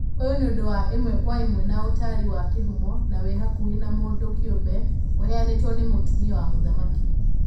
Ũyũ nĩ ũndũ wa ĩmwe kwa ĩmwe na ũtarĩ wa kĩhumo, na wĩ hakuhĩ wa mũndũ kĩũmbe, ũheanĩtwo nĩ mũtumia wa mũthamaki.